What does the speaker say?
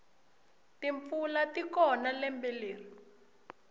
timpfula tikona lembe leri